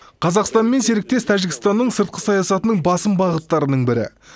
қазақстанмен серіктес тәжікстанның сыртқы саясатының басым бағыттарының бірі